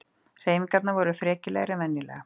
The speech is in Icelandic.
Hreyfingarnar voru frekjulegri en venjulega.